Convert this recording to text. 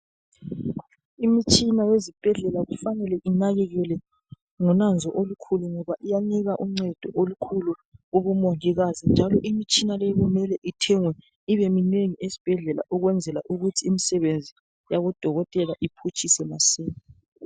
Imitshina ezibhedlela kufanele inakekelwe ngolwazi olukhulu ngoba iyanika uncendo olukhulu kubomongikazi njalo imitshina le kumele Ithengwe ibe minengi esibhedlela ukwenzela ukuthi imisebenzi yabo dokotela iphutshese masinya